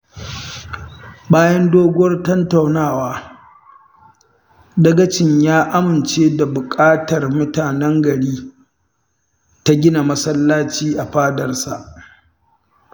Bayan doguwar tattaunawa, dagacin ya amince da buƙatar mutanen gari ta gina masallaci a fadarsa